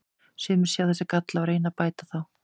Sumir sjá þessa galla og reyna að bæta þá.